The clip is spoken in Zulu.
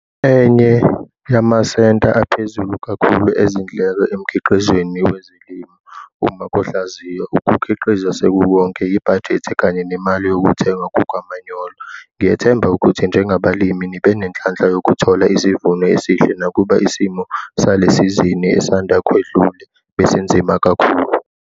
Enye yamasenta aphezulu kakhulu ezindleko emkhiqizweni wezilimo uma kuhlaziywa ukukhiqiza sekukonke yibhajethi kanye nemali yokuthengwa kukamanyolo. Ngiyethemba ukuthi njengabalimi nibe nenhlanhla yokuthola isivuno esihle nakuba isimo salesizini esanda kwedlule besinzima kakhulu.